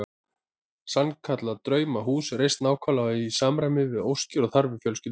Sannkallað draumahús reist nákvæmlega í samræmi við óskir og þarfir fjölskyldunnar.